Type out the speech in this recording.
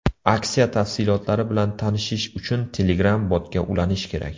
Aksiya tafsilotlari bilan tanishish uchun Telegram botga ulanish kerak.